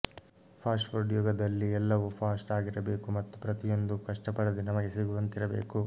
fast food ಯುಗದಲ್ಲಿ ಎಲ್ಲವೂ fast ಆಗಿರಬೇಕು ಮತ್ತು ಪ್ರತಿಯೊಂದು ಕಷ್ಟಪಡದೆ ನಮಗೆ ಸಿಗುವಂತಿರಬೇಕು